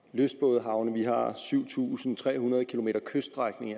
lystbådehavne vi har syv tusind tre hundrede km kyststrækning